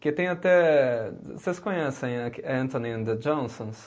Porque tem até, vocês conhecem Anthony and the Johnsons?